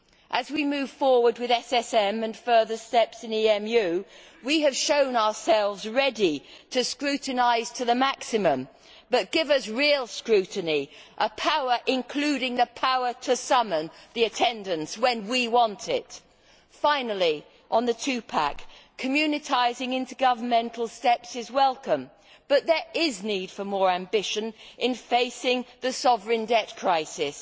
As we move forward with SSM and further steps in EMU we have shown ourselves ready to scrutinise to the maximum, but give us real scrutiny, including the power to summon and demand attendance when we want it. Finally, on the Two pack communitising intergovernmental steps is welcome, but there is need for more ambition in facing the sovereign debt crisis.